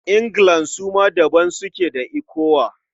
Anglican su ma daban suke da ECWA.